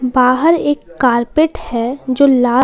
बाहर एक कारपेट है जो लाल--